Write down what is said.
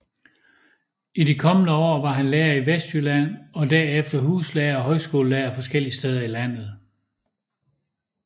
I de kommende år var han lærer i Vestjylland og derefter huslærer og højskolelærer forskellige steder i landet